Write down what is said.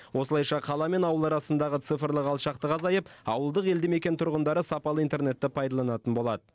осылайша қала мен ауыл арасындағы цифрлық алшақтық азайып ауылдық елді мекен тұрғындары сапалы интернетті пайдаланатын болады